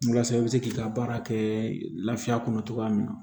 Walasa i bɛ se k'i ka baara kɛ lafiya kɔnɔ cogoya min na